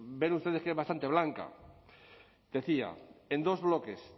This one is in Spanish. ven ustedes que es bastante blanca decía en dos bloques